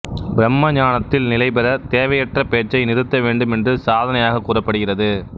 பிரம்ம ஞானத்தில் நிலை பெறத் தேவையற்ற பேச்சை நிறுத்த வேண்டும் என்று சாதனையாக கூறப்படுகிறது